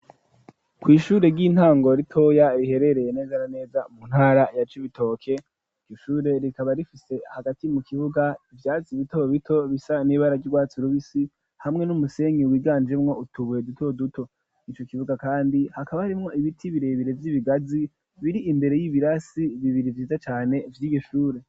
Kw'ishure ry'intango ritoya, riherereye neza naneza mu ntara ya c'ibitoke ,ryo shure rikaba rifise hagati mu kibuga ivyazi bitobo bito bisa n'ibara ryurwatsi rubisi, hamwe n'umusenyi wiganjemwo utubuye duto duto, nico kibuga kandi hakaba harimwo ibiti birebere vy'ibigazi biri imbere y'ibirasi bibiri ,vyiza cane vy'irishure.